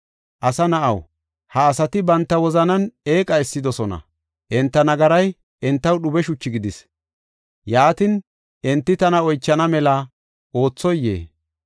“Asa na7aw, ha asati banta wozanan eeqa essidosona; enta nagaray entaw dhube shuchi gidis. Yaatin, enti tana oychana mela oothoyee?”